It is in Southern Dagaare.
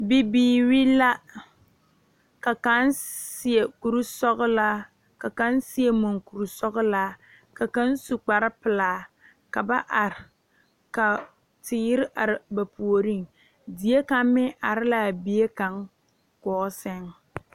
Bibiire la ka kaŋ seɛ kurisɔglaa la kaŋ seŋ mankurisɔglaa ka kaŋ su kparepelaa ka ba are la teere are ba puoriŋ die kaŋ meŋ are laa bie kaŋ gɔɔ sɛŋ na.